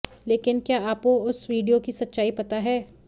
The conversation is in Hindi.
लेकिन क्या आपो उस वीडियो की सच्चाई पता है